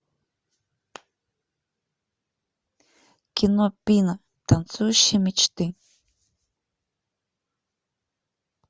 кино пина танцующие мечты